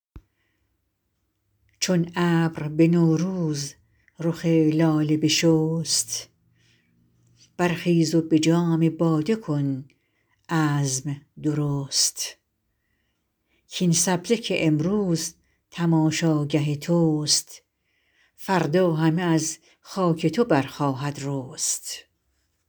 چون ابر به نوروز رخ لاله بشست برخیز و به جام باده کن عزم درست کاین سبزه که امروز تماشاگه توست فردا همه از خاک تو برخواهد رست